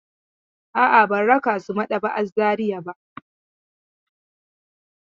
A'a, ban raka su maɗaba'a r Zariya ba.